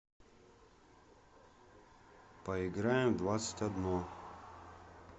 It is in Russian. поиграем в двадцать одно